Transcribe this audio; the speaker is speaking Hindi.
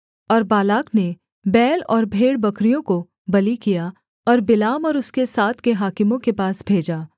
और बालाक ने बैल और भेड़बकरियों को बलि किया और बिलाम और उसके साथ के हाकिमों के पास भेजा